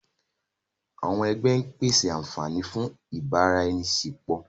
àwọn ẹgbẹ ń pese anfani fun ibaraenisepo.